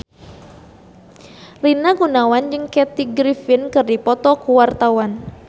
Rina Gunawan jeung Kathy Griffin keur dipoto ku wartawan